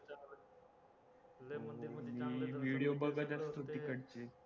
मी बघत असतो तिकडचे